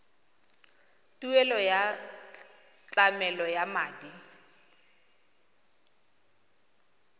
tuelo ya tlamelo ya madi